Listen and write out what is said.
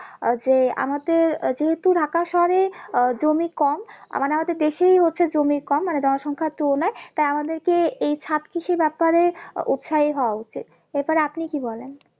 আহ যে আমাদের আহ যেহেতু ঢাকা শহরে আহ জমি কম মানে আমাদের দেশেই হচ্ছে জমি কম মানে জন সংখ্যার তুলনায় তাই আমাদেরকে এই ছাদ কৃষির ব্যাপারে উৎসাহী হওয়া উচিত এই ব্যাপারে আপনি কি বলেন?